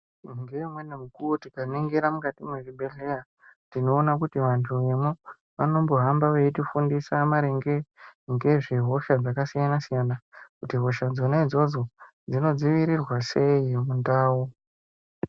Ngeumweni mukuwo tikaningira mukati mezvibhedhlera tinoona kuti vantu vemo vanombohamba veitifundisa maringe ngezvehosha dzakasiyana-siyana, kuti hosha dzonaidzodzo dzinodziirirwa sei mundau.